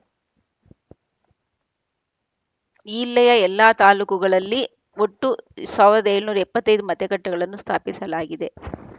ಈಲ್ಲೆಯ ಎಲ್ಲಾ ತಾಲೂಕುಗಳಲ್ಲಿ ಒಟ್ಟು ಸಾವಿರದ ಏಳುನೂರ ಎಪ್ಪತ್ತ್ ಐದು ಮತಗಟ್ಟೆಗಳನ್ನು ಸ್ಥಾಪಿಸಲಾಗಿದೆ